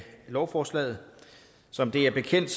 lovforslaget som det er bekendt